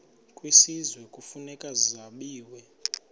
kwisizwe kufuneka zabiwe